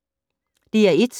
DR1